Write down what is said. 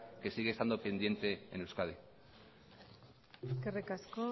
que sigue estando pendiente en euskadi eskerrik asko